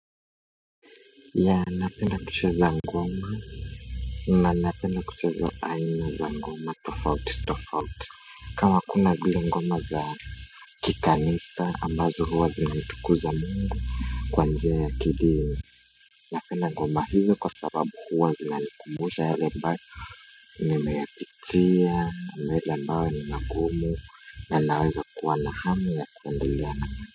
Ya napenda kucheza ngoma na napenda kucheza aina za ngoma tofauti tofauti kama kuna zile ngoma za kikanisa ambazo huwa zinamtukuza mungu kwanjia ya kidini napenda ngoma hizo kwa sababu huwazina nikumusha yale ambayo nimeyapitia mengi ambayo ni magumu na naweza kuwa na hamu ya kuendelea na.